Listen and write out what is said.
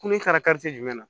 Kunun kari jumɛn na